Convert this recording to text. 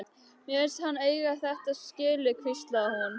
Mér fannst hann eiga þetta skilið- hvíslaði hún.